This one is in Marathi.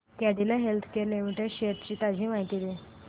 कॅडीला हेल्थकेयर लिमिटेड शेअर्स ची ताजी माहिती दे